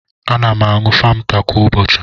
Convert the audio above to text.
Ana m aṅụ famta kwa ụbọchị.